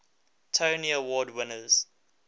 tony award winners